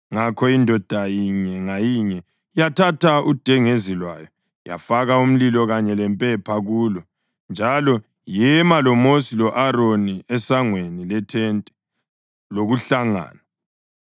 Ngakho indoda inye ngayinye yathatha udengezi lwayo, yafaka umlilo kanye lempepha kulo, njalo yema loMosi lo-Aroni esangweni lethente lokuhlangana.